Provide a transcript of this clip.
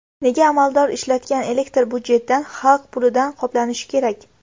Nega amaldor ishlatgan elektr budjetdan, xalq pulidan qoplanishi kerak?